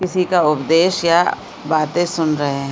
किसी का उपदेश या बातें सुन रहै है।